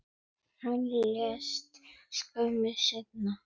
Hann lést skömmu seinna.